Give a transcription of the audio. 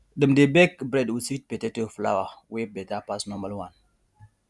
dem dey bake bread with sweet potato flour wey better pass normal one